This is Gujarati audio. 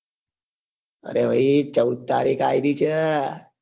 ભાઈ ચૌદ તારીખ આવી ગઈ છે